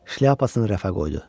Şlyapasını rəfə qoydu.